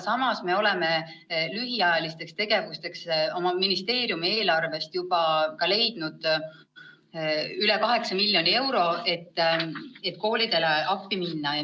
Samas me oleme lühiajalisteks tegevusteks oma ministeeriumi eelarvest juba leidnud üle 8 miljoni euro, et koolidele appi minna.